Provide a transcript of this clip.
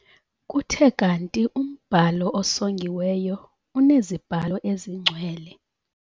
Kuthe kanti umbhalo osongiweyo uneziBhalo eziNgcwele.